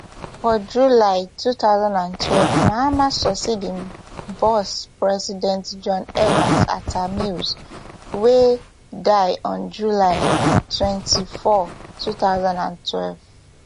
for july two thousand and twelve mahama succeed im boss president john evans atta mills wey die on july twenty-four two thousand and twelve